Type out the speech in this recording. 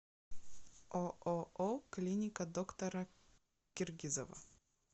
ооо клиника доктора киргизова